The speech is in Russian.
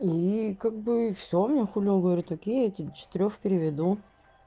и как бы всё на хуй он говорит окей я тебе четырёх приведу